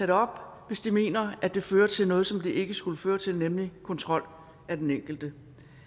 det op hvis de mener det fører til noget som det ikke skulle føre til nemlig kontrol af den enkelte